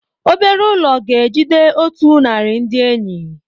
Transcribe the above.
Obere ụlọ ga-ejide otu narị ndị enyi.